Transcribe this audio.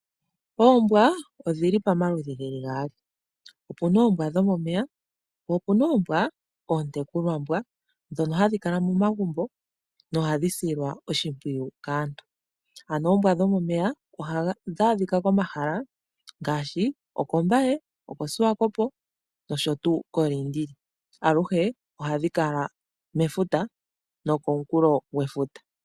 Oombwa odhili pamaludhi gaali, opena oombwa dhomomeya po opena oombwa ootekulwambwa dhoka hadhi kala momagumbo dhoka hadhi silwa oshipwiyu kaantu. Oombwa dhomomeya ohadhi adhika kOmbaye, koLiindili nosho woo koSwakopo, aluhe ohadhi kala mefuta nokoonkulo dhefuta.